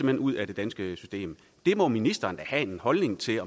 hen ud af det danske system det må ministeren da have en holdning til